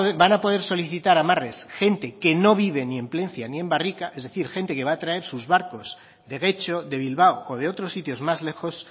va a poder solicitar amarres gente que no vive ni en plentzia ni en barrika es decir gente que va a traer sus barcos de getxo de bilbao o de otros sitios más lejos